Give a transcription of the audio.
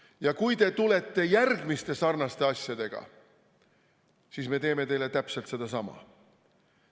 Ja kui te tulete järgmiste sarnaste asjadega, siis me teeme teile täpselt sedasama.